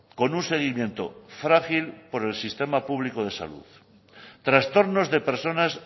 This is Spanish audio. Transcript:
con un seguimiento frágil por el sistema público de salud trastornos de personas